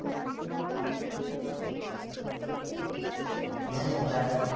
হ্যাঁ ওটাই